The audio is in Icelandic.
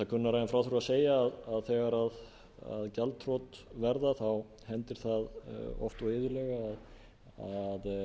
kunnara en frá þurfi að segja að þegar gjaldþrot verða hendir það oft og iðulega að